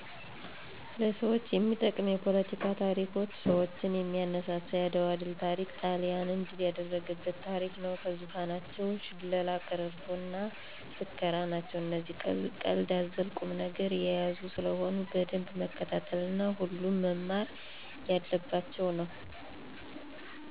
ለሰዎች የሚጠቅም የፓለቲካ ታሪኮች ሰዎችን የሚያነሳሳ የአድዋ ድል ታሪክ ጣሊያንን ድል ያደረጉበት ታሪክ ነው። ከዙፋኖችም ሽላላ፣ ቀረርቶ እና ፉከራ ናቸው እነዚህ ቀልድ አዘል ቁም ነገር የያዙ ስለሆነ በደንብ መከታተል እና ሁሉም መማር የለባቸው ነው